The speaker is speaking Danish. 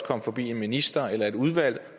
komme forbi en minister eller et udvalg